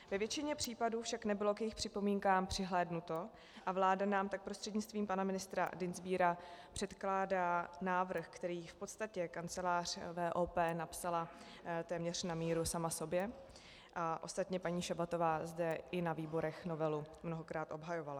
Ve většině případů však nebylo k jejich připomínkám přihlédnuto a vláda nám tak prostřednictvím pana ministra Dienstbiera předkládá návrh, který v podstatě kancelář VOP napsala téměř na míru sama sobě, a ostatně paní Šabatová zde i na výborech novelu mnohokrát obhajovala.